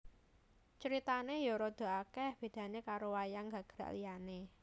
Critane ya radha akeh bedane karo wayang gagrak liane